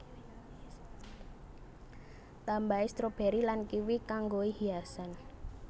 Tambahi stroberi lan kiwi kanggoi hiasan